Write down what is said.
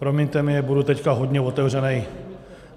Promiňte mi, budu teď hodně otevřený.